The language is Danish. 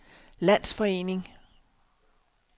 landsforening